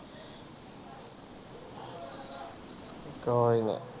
ਕੋਈ ਨੀ